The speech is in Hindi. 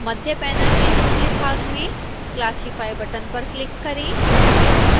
मध्य पैनल के निचले भाग में classify बटन पर क्लिक करें